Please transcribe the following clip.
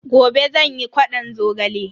Gobe zan yi ƙwadon zogale.